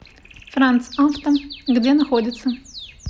франц авто где находится